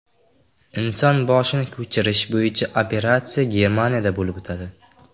Inson boshini ko‘chirish bo‘yicha operatsiya Germaniyada bo‘lib o‘tadi.